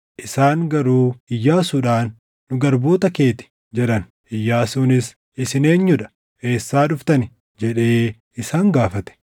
Isaan garuu Iyyaasuudhaan, “Nu garboota kee ti” jedhan. Iyyaasuunis, “Isin eenyuu dha? Eessaa dhuftani?” jedhee isaan gaafate.